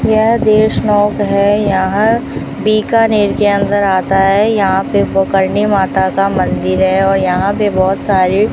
यह देशमोक है यहां बीकानेर के अंदर आता है यहां पे बुखारनी माता का मंदिर है और यहां पे बहोत सारे --